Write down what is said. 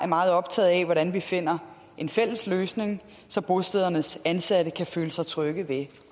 meget optaget af hvordan vi finder en fælles løsning så bostedernes ansatte kan føle sig trygge ved